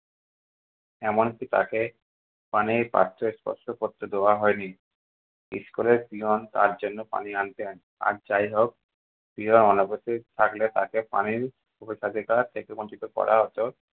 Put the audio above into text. এমনকি তাকে পানি পাঠ্যস্পর্শ করতে দেওয়া হয়নি। school এর peon তার জন্য পানি আনতেন। আর যাই হোক peon অনুপস্থিত থাকলে তাকে পানির অধিকার থেকে বঞ্চিত করা হতো।